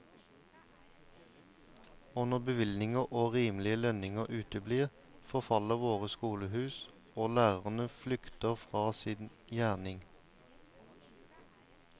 Og når bevilgninger og rimelige lønninger uteblir, forfaller våre skolehus, og lærerne flykter fra sin gjerning.